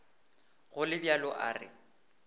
go le bjalo a re